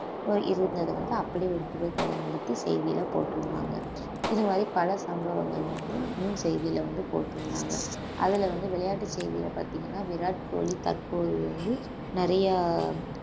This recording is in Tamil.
இருந்தது வந்து அப்படி ஒரு புகைப்படம் எடுத்து செய்தியில போட்டுருந்தாங்க இது மாதிரி பல சம்பவங்கள் வந்து முன் செய்தியில வந்து போட்டிருந்தாங்க அதுல வந்து விளையாட்டு செய்திகளை பார்த்தீங்கன்னா விராட் கோலி தற்போது வந்து நிறைய